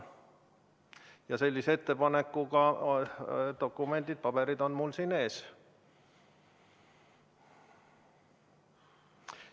Ja sellise ettepanekuga paberid on mul siin ees.